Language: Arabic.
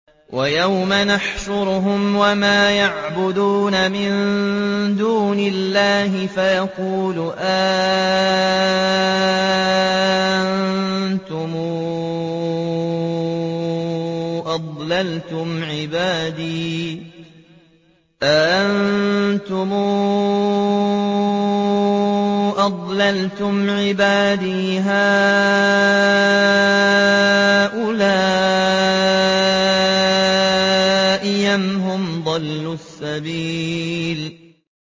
وَيَوْمَ يَحْشُرُهُمْ وَمَا يَعْبُدُونَ مِن دُونِ اللَّهِ فَيَقُولُ أَأَنتُمْ أَضْلَلْتُمْ عِبَادِي هَٰؤُلَاءِ أَمْ هُمْ ضَلُّوا السَّبِيلَ